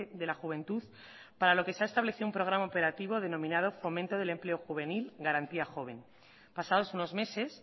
de la juventud para lo que se ha establecido un programa operativo denominado fomento del empleo juvenil garantía joven pasados unos meses